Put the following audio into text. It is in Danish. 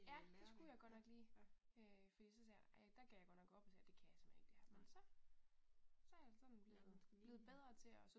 Ja, det skulle jeg godt nok lige. Øh fordi så sagde jeg der gav jeg godt nok op og sagde det kan jeg simpelthen ikke det her men så så er jeg sådan blevet blevet bedre til at